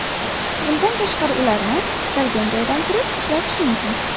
Bundan tashqari ularni istalgan joydan turib ishlatish mumkin.